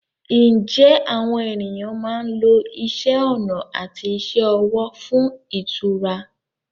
Ǹjẹ́ àwọn ènìyàn máa ń lo isẹ́ ọnà àti iṣẹ́ ọwọ́ fún ìtura?